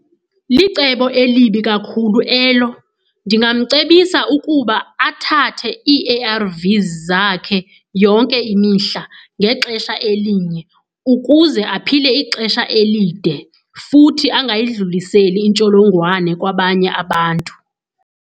Licebo elibi kakhulu elo. Ndingamcebisa ukuba athathe i-A_R_Vs zakhe yonke imihla ngexesha elinye ukuze aphile ixesha elide futhi angayidluliseli intsholongwane kwabanye abantu.